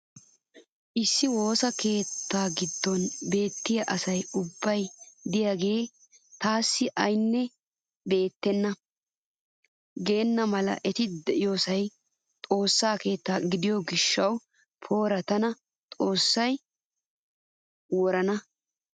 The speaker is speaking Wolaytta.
Issi woossa keettaa giddon beettiya asay ubbay diyaagee taassi aynne beettenna geena mala eti diyoosay xoossaa keetta gidiyo gishaassi poori tana xoossay worana!